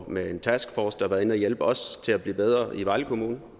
med en taskforce der har været inde at hjælpe os til at blive bedre i vejle kommune